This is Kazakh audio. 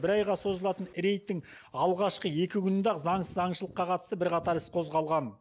бір айға созылатын рейдтің алғашқы екі күнінде ақ заңсыз аңшылыққа қатысты бірқатар іс қозғалған